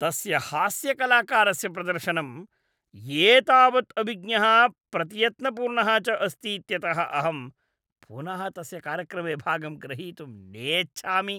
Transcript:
तस्य हास्यकलाकारस्य प्रदर्शनम् एतावत् अविज्ञः प्रतियत्नपूर्णः च अस्तीत्यतः अहं पुनः तस्य कार्यक्रमे भागं ग्रहीतुं नेच्छामि।